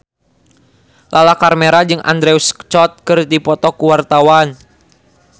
Lala Karmela jeung Andrew Scott keur dipoto ku wartawan